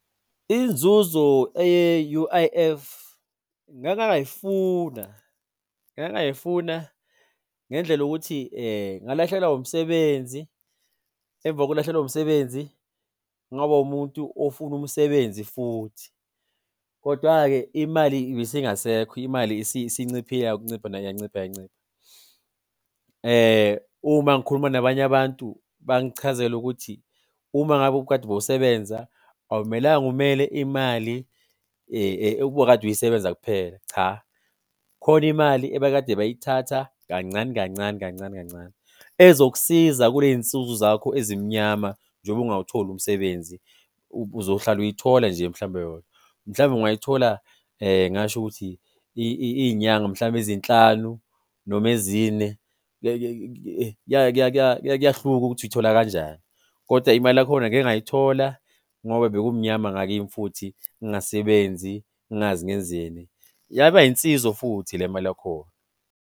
Inzuzo eye-U_I_F ngake ngayifuna ngake ngayifuna ngendlela yokuthi ngalahlekelwa umsebenzi, emva kokulahlekelwa umsebenzi ngaba umuntu ofuna umsebenzi futhi. Kodwa-ke imali ibisingasekho, imali isinciphile nayo yancipha yancipha yancipha. Uma ngikhuluma nabanye abantu bangichazela ukuthi uma ngabe ukade bowusebenza awumelanga umele imali obukade uyisebenza kuphela, cha kukhona imali ebekade bayithatha kancane kancane kancane kancane ezokusiza kule y'nsuku zakho ezimnyama njengoba ungawutholi umsebenzi. Uzohlala uyithola nje mhlawumbe yona. Mhlawumbe ungayithola ngingasho ukuthi iy'nyanga mhlawumbe ezinhlanu noma ezine, kuyahluka ukuthi uyithola kanjani. Koda imali yakhona ngike ngayithola ngoba bekumnyama ngakimi futhi ngingasebenzi ngingazi ngenzeni, yaba yinsizo futhi le mali yakhona.